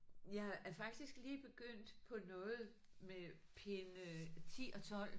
Jeg er faktisk lige begyndt på noget med pinde 10 og 12